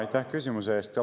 Aitäh küsimuse eest!